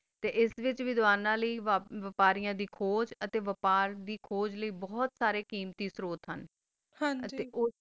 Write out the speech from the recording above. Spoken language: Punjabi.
ਤਾ ਆਸ ਵਾਤ੍ਚ ਦਾਵਾਨਾ ਲੀ ਬਾਪਾਰਿਆ ਦਾ ਬਪਾਰ ਲੀ ਕੋਆਚ ਬੋਹਤ ਸਾਰਾ ਕਮਾਤਿ ਸੋਰਾ ਜ ਸਨ